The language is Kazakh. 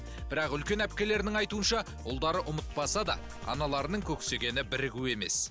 бірақ үлкен әпкелерінің айтуынша ұлдары ұмытпаса да аналарының көксегені бірігу емес